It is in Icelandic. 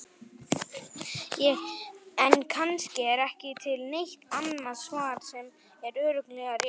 En kannski er ekki til neitt annað svar sem er örugglega rétt.